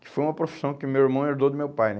Que foi uma profissão que meu irmão herdou do meu pai, né?